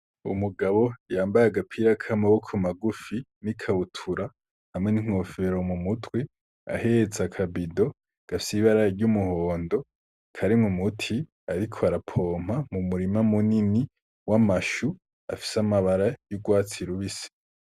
Umugabo yambaye agapira k'amaboko magufi, n'ikabutura hamwe n'inkofero mu mutwe, ahets'akabido gafis'ibara ry'umuhondo ,karimw' umuti arkw'arapompa mu murima munini w'amashu afis'amabara y'urwatsi rubisi.